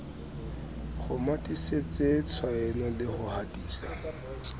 kgomathisetse tshaeno le ho hatisa